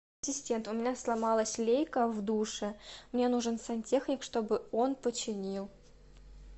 ассистент у меня сломалась лейка в душе мне нужен сантехник чтобы он починил